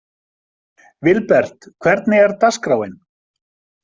Vilbert, hvernig er dagskráin?